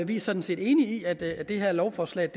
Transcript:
vi er sådan set enige i at at det her lovforslag